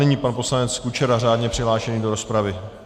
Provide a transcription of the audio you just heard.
Nyní pan poslanec Kučera řádně přihlášený do rozpravy.